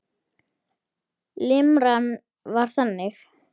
Limran var þannig